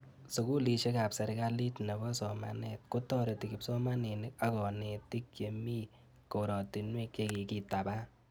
Sukulishek ab serikalit nepo somanet kotareti kipsomanik ak kanetik che mi koratinwek che kikitaban